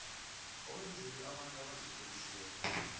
owenzelwe abantu abazitlolisileko